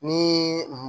Ni